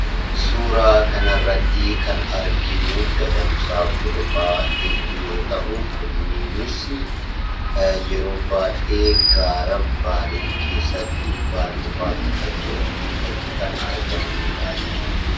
Suuraa kanarratti kan arginuu, gadamsa, borofa hedduu yoo ta'uu, kunniinis yeroo baayyee gaara baalee keessatti, Bale park kan jedhamu keessatti kan argamaniidhaa jechuudha.